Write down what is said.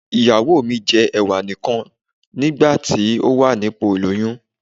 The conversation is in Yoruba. Ìyàwó mi jẹ́ Ẹ̀wà nì kan ní ìgbà tó wà ní ipò ìlóyún.